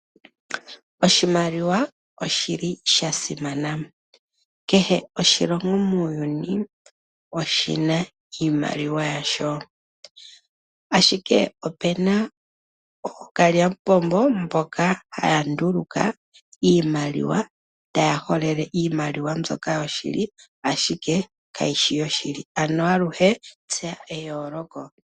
Oshimaliwa oshili shasimana, kehe oshilongo muuyuni oshina iimaliwa yasho. Ashike opuna ookalyamupombo mboka haya nduluka iimaliwa taya holele iimaliwa mbyoka yoshili ashike kayishi yoshili, ano aluhe tseya eyooloko.